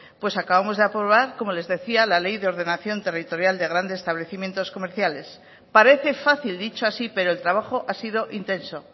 pues acabamos de aprobar como les decía la ley de ordenación territorial de grandes establecimientos comerciales parece fácil dicho así pero el trabajo ha sido intenso